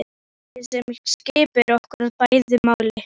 Dáldið sem skiptir okkur bæði máli.